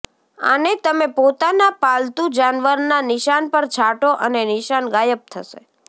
આને તમે પોતાના પાલતું જાનવરના નિશાન પર છાંટો અને નિશાન ગાયબ થશે